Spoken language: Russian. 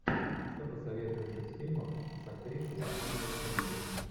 что посоветуешь из фильмов с актрисой анной кендрик